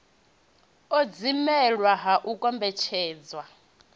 u dzimelwa ha u kombetshedza